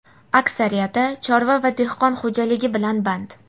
aksariyati chorva va dehqon xo‘jaligi bilan band.